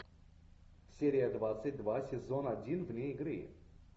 серия двадцать два сезон один вне игры